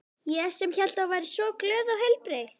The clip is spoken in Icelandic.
Ég sem hélt að þú væri svo glöð og heilbrigð.